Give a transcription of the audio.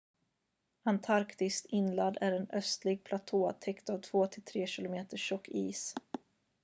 antarktis inland är en ödslig platå täckt av 2-3 km tjock is